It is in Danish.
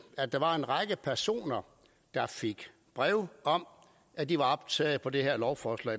at der var en række personer der fik brev om at de var optaget på det her lovforslag